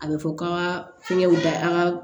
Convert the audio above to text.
A bɛ fɔ k'an ka fɛngɛw da an ka